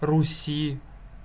руси